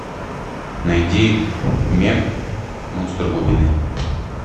найди мег монстр глубины